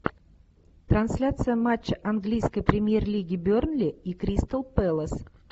трансляция матча английской премьер лиги бернли и кристал пэлас